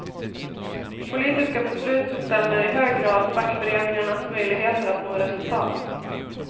Politiska beslut bestämmer i hög grad fackföreningarnas möjligheter att nå resultat.